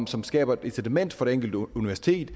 som skaber et incitament for det enkelte universitet